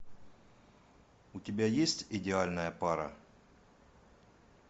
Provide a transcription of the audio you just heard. у тебя есть идеальная пара